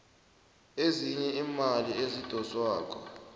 ezinye iimali ezidoswako